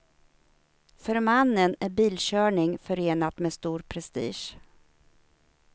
För mannen är bilkörning förenat med stor prestige.